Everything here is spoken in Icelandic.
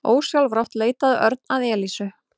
Ósjálfrátt leitaði Örn að Elísu.